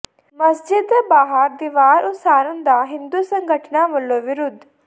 ਮਸਜਿਦ ਦੇ ਬਾਹਰ ਦੀਵਾਰ ਉਸਾਰਨ ਦਾ ਹਿੰਦੂ ਸੰਗਠਨਾਂ ਵੱਲੋਂ ਵਿਰੋਧ